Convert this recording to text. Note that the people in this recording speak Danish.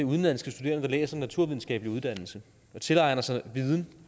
udenlandske studerende der læser naturvidenskabelige uddannelser og tilegner sig viden